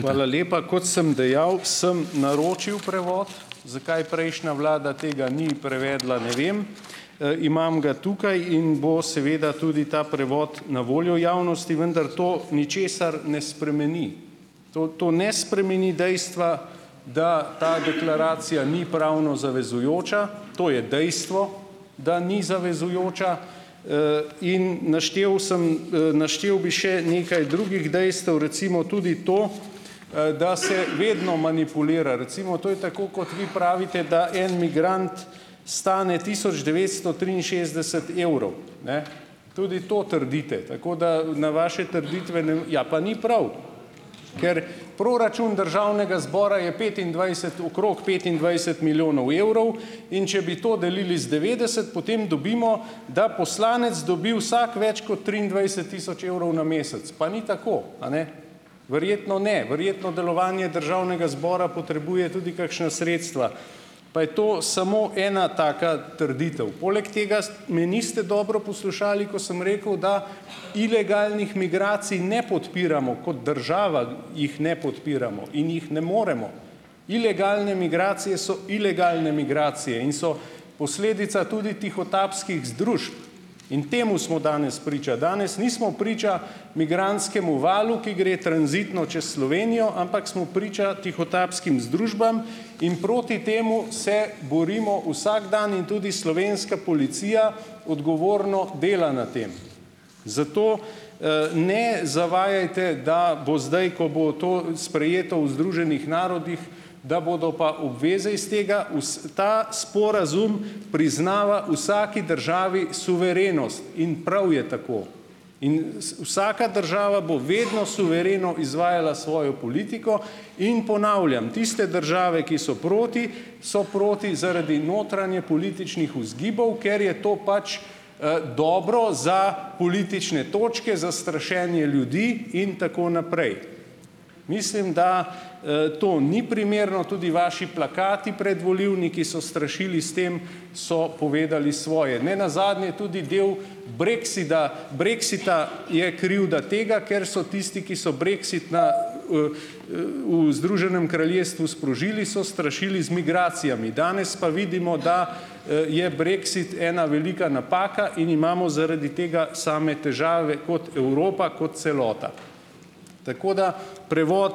Hvala lepa. Kot sem dejal, sem naročil prevod, zakaj prejšnja vlada tega ni prevedla, ne vem. Imam ga tukaj in bo seveda tudi ta prevod na voljo javnosti, vendar to ničesar ne spremeni. To to ne spremeni dejstva, da ta deklaracija ni pravno zavezujoča, to je dejstvo, da ni zavezujoča, in naštel sem, naštel bi še nekaj drugih dejstev, recimo tudi to, da se vedno manipulira. Recimo to je tako kot vi pravite, da en migrant stane tisoč devetsto triinšestdeset evrov, ne, tudi to trdite, tako da na vaše trditve, ne ... Ja, pa ni prav, ker proračun državnega zbora je petindvajset okrog petindvajset milijonov evrov, in če bi to delili z devetdeset, potem dobimo, da poslanec dobi vsak več kot triindvajset tisoč evrov na mesec, pa ni tako, a ne? Verjetno ne, verjetno delovanje državnega zbora potrebuje tudi kakšna sredstva, pa je to samo ena taka trditev. Poleg tega me niste dobro poslušali, ko sem rekel, da ilegalnih migracij ne podpiramo, kot država jih ne podpiramo in jih ne moremo. Ilegalne migracije so ilegalne migracije in so posledica tudi tihotapskih združb in temu smo danes priča. Danes nismo priča migrantskemu valu, ki gre tranzitno čez Slovenijo, ampak smo priča tihotapskim združbam in proti temu se borimo vsak dan in tudi slovenska policija odgovorno dela na tem, zato, ne zavajajte, da bo zdaj, ko bo to sprejeto v Združenih narodih, da bodo pa obveze iz tega. Ta sporazum priznava vsaki državi suverenost in prav je tako in vsaka država bo vedno suvereno izvajala svojo politiko in ponavljam - tiste države, ki so proti, so proti zaradi notranje političnih vzgibov. Ker je to pač, dobro za politične točke, za strašenje ljudi in tako naprej. Mislim, da, to ni primerno. Tudi vaši plakati predvolilni, ki so strašili s tem, so povedali svoje. Ne nazadnje tudi del breksida brexita je kriv, da tega, ker so tisti, ki so brexit na, v Združenem kraljestvu sprožili, so strašili z migracijami, danes pa vidimo, da, je brexit ena velika napaka in imamo zaradi tega same težave kot Evropa, kot celota. Tako da prevod